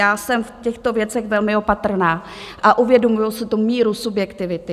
Já jsem v těchto věcech velmi opatrná a uvědomuji si tu míru subjektivity.